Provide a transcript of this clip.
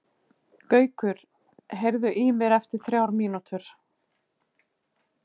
Gaukur, heyrðu í mér eftir þrjár mínútur.